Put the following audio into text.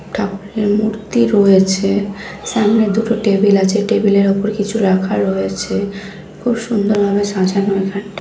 ঠাকুরের মূর্তি রয়েছে সামনে দুটো টেবিল আছে টেবিল -এর উপর কিছু রাখার রয়েছে খুব সুন্দর ভাবে সাজানো এখানটায়।